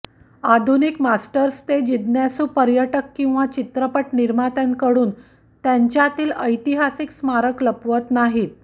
आधुनिक मास्टर्स ते जिज्ञासू पर्यटक किंवा चित्रपट निर्मात्यांकडून त्यांच्यातील ऐतिहासिक स्मारक लपवत नाहीत